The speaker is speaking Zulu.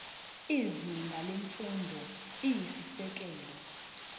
izinga lemfundo eyisisekelo